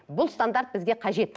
бұл стандарт бізге қажет